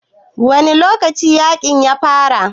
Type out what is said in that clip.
Wane lokaci yakin ya fara?